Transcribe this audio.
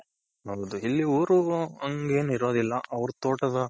ಹೌದು ಇಲ್ಲಿ ಊರು ಹಂಗೇನಿರೋದಿಲ್ಲ ಅವ್ರ್ ತೋಟದ,